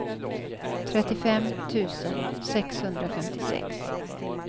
trettiofem tusen sexhundrafemtiosex